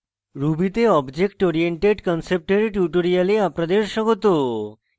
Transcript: ruby তে object oriented concept এর tutorial আপনাদের স্বাগত